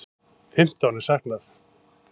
Fimmtán er saknað.